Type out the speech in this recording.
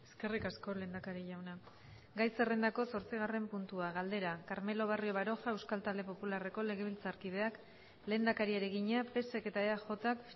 eskerrik asko lehendakari jauna gai zerrendako zortzigarren puntua galdera carmelo barrio baroja euskal talde popularreko legebiltzarkideak lehendakariari egina psek eta eajk